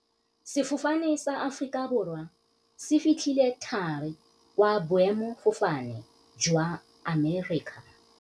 Sefofane sa Aforika Borwa se fitlhile thari kwa boêmôfofane jwa Amerika.